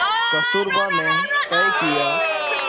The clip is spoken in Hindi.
कस्तूरबा ने तय किया